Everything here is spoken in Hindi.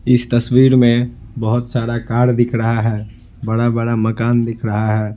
इस तस्वीर में बहुत सारा कार दिख रहा है बड़ा बड़ा मकान दिख रहा है।